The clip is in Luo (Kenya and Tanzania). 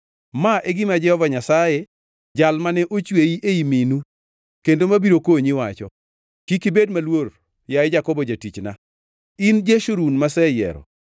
Ma e gima Jehova Nyasaye, jal mane ochweyi, ei minu, kendo mabiro konyi wacho: Kik ibed maluor, yaye Jakobo jatichna, in Jeshurun maseyiero.